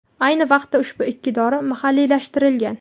Ayni vaqtda ushbu ikki dori mahalliylashtirilgan.